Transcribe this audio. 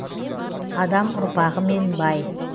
адам ұрпағымен бай